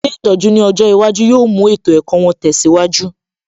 Ilé ìtọ́jú ní ọjọ́ iwájú yóò mú ètò ẹ̀kọ́ wọn tẹsiwaju